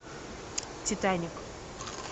титаник